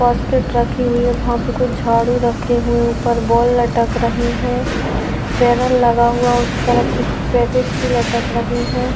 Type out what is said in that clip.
फास्टेट रखी हुई है वहां पर कुछ झाड़ू रखे हुए ऊपर बोल लटक रही है बैनर लगा हुआ उसे तरफ कुछ पैकेट सी लटक रही है।